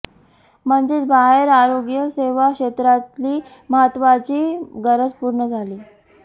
म्हणजेच बाहेर आरोग्यसेवा क्षेत्रातली महत्त्वाची गरज पूर्ण झाली